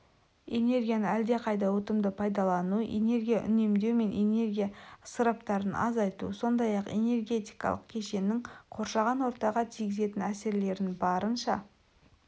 энергияны әлдеқайда ұтымды пайдалану энергия үнемдеу мен энергия ысыраптарын азайту сондай-ақ энергетикалық кешеннің қоршаған ортаға тигізетін әсерлерін барынша